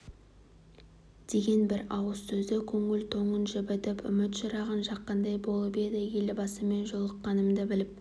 деген бір ауыз сөзі көңіл тоңын жібітіп үміт шырағын жаққандай болып еді елбасымен жолыққанымды біліп